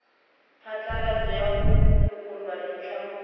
phatlalatso ya ho lokollwa ditlamong